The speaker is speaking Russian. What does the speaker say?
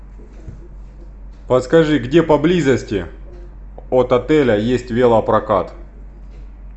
подскажи где поблизости от отеля есть велопрокат